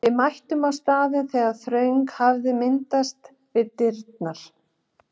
Við mættum á staðinn þegar þröng hafði myndast við dyrnar.